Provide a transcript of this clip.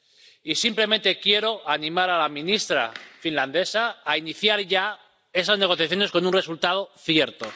Y simplemente quiero animar a la ministra finlandesa a iniciar ya esas negociaciones con un resultado cierto.